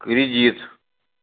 кредит